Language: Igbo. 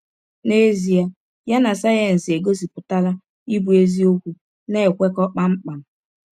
N’ezie, ya na sayensị e gọsipụtara ịbụ eziọkwu na - ekwekọ kpam kpam.